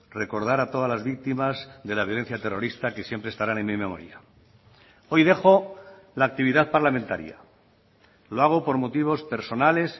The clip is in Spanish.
recordar a todas las víctimas de la violencia terrorista que siempre estarán en mi memoria hoy dejo la actividad parlamentaria lo hago por motivos personales